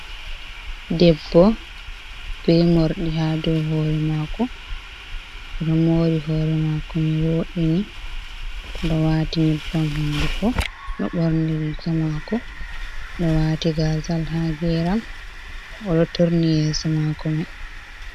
Debbo be morɗi ha dou hore mako oɗo mori hore mako mai wo’ini ɗo wati nyebbam hunduko ɗo ɓorni rika mako ɗo wati gazal ha geram oɗo turni yeso mako mai.